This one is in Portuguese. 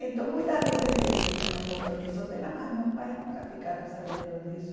Então muitas vezes eles tinham os compromissos dela, mas meus pais nunca ficaram sabendo disso.